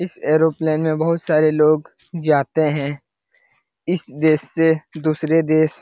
इस एरोप्लेन में बहुत सारे लोग जाते है इस देश से दुसरे देश ।